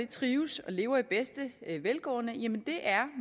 trives og lever i bedste velgående